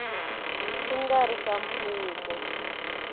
xi nga ri xa mfumo